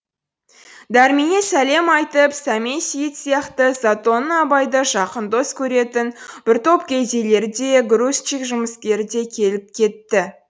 дәрменнен сәлем айтып сәмен сейіт сияқты затонның абайды жақын дос көретін бір топ кедейлері де грузчик жұмыскері де келіп кетті